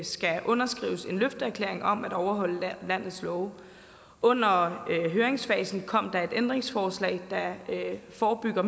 skal underskrives en løfteerklæring om at overholde landets love under høringsfasen kom der et ændringsforslag der forebygger